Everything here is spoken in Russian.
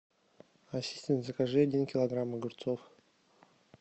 ассистент закажи один килограмм огурцов